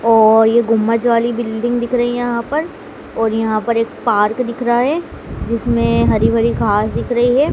और ये गुम्बद वाली बिल्डिंग दिख रही है यहाँ पर और यहाँ पर एक पार्क दिख रहा हैं जिसमें हरी-भरी घास दिख रही हैं।